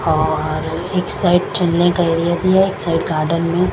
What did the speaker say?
और एक साइड चलने का एरिया भी है एक साइड गार्डन भी--